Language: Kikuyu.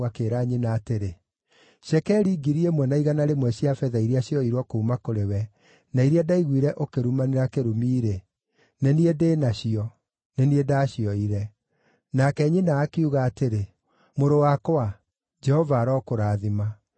akĩĩra nyina atĩrĩ, “Cekeri ngiri ĩmwe na igana rĩmwe cia betha iria cioirwo kuuma kũrĩ we, na iria ndaiguire ũkĩrumanĩra kĩrumi-rĩ, nĩ niĩ ndĩ nacio; nĩ niĩ ndacioire.” Nake nyina akiuga atĩrĩ, “Mũrũ wakwa, Jehova arokũrathima.”